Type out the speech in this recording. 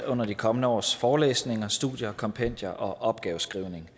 under de kommende års forelæsninger studier kompendier og opgaveskrivning